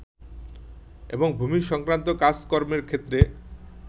এবং ভুমিসংক্রান্ত কাজ কর্মের ক্ষেত্রে